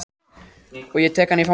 Og ég tek hana í fangið.